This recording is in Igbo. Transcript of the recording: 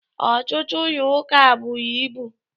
Ọtụtụ ụlọ ụka buru ibu